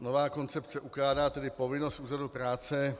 Nová koncepce ukládá tedy povinnost úřadu práce